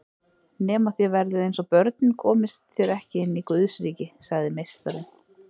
Nema þér verðið eins og börnin komist þér ekki inn í Guðsríki, sagði Meistarinn.